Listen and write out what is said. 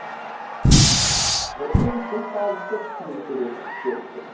бірден тіл табысып шүйіркелесіп кеттік